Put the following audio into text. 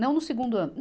Não no segundo ano.